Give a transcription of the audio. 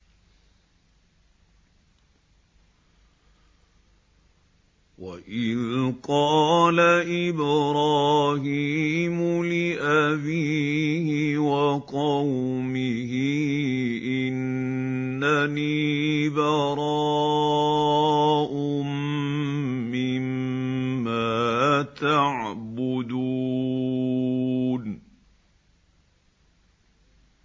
وَإِذْ قَالَ إِبْرَاهِيمُ لِأَبِيهِ وَقَوْمِهِ إِنَّنِي بَرَاءٌ مِّمَّا تَعْبُدُونَ